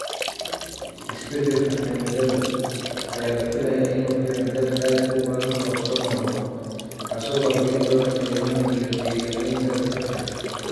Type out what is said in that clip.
Isbeddelka cimilada ayaa la filayaa inuu keeno dab aad u badan oo soo noqnoqda, kaas oo baabi'in doona kaymaha iyo deegaamaynta dadka.